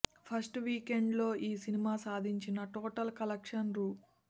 first weekend లో ఈ సినిమా సాధించిన టోటల్ కలెక్షన్స్ రూ